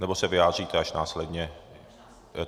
Nebo se vyjádříte až následně?